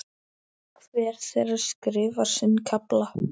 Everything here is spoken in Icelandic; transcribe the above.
Hver þeirra skrifar sinn kafla.